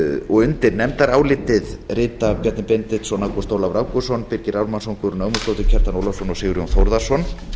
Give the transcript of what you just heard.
þessu undir nefndarálitið rita bjarni benediktsson ágúst ólafur ágústsson birgir ármannsson guðrún ögmundsdóttir kjartan ólafsson og sigurjón þórðarson